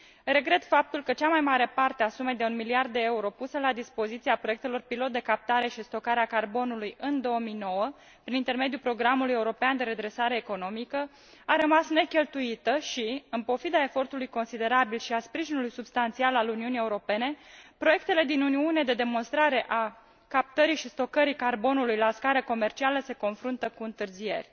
Regret faptul că cea mai mare parte a sumei de un miliard de euro puse la dispoziția proiectelor pilot de captare și stocare a carbonului în 2009 prin intermediul Programului European de Redresare Economică a rămas necheltuită și, în pofida efortului considerabil și a sprijinului substanțial al Uniunii Europene, proiectele din Uniune de demonstrare a captării și stocării carbonului la scară comercială se confruntă cu întârzieri.